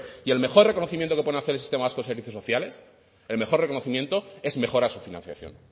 y el mejor reconocimiento que pueden hacer al sistema vasco de servicios sociales el mejor reconocimiento es mejorar su financiación